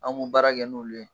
An kun baara kɛ n'olu ye.